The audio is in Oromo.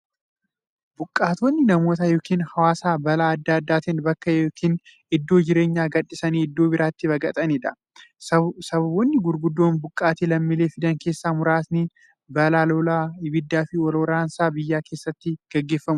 Buqqaatonni namoota yookiin hawaasa balaa adda addaatiin bakka yookiin iddoo jireenyaa gadhiisanii iddoo birootti baqataniidha. Sababoonni gurguddoon buqqaatii lammiilee fidan keessaa muraasni; balaa lolaa, ibiddaafi wal waraansa biyya keessatti gaggeeffamuudha.